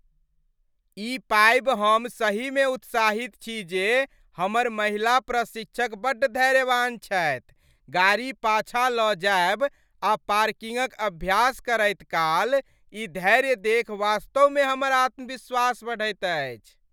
ई पाबि हम सहीमे उत्साहित छी जे हमर महिला प्रशिक्षक बड्ड धैर्यवान छथि, गाड़ी पाछाँ लऽ जायब आ पार्किंगक अभ्यास करैत काल ई धैर्य देखि वास्तवमे हमर आत्मविश्वास बढ़ैत अछि।